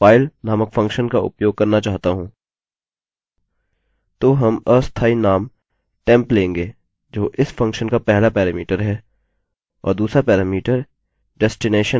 तो हम अस्थायी नाम temp लेंगे जो इस फंक्शन का पहला पैरामीटर है और दूसरा पैरामीटर डेस्टिनैशन है जो कि अपलोडेड फोल्डर है